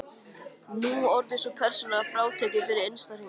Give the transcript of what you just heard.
Nú orðið er sú persóna frátekin fyrir innsta hring.